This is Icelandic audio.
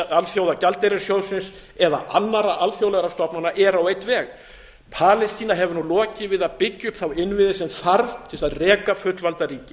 alþjóðagjaldeyrissjóðsins eða annarra alþjóðlegra stofnana eru á einn veg palestína hefur nú lokið við að byggja upp þá innviði sem þarf til þess að reka fullvalda ríki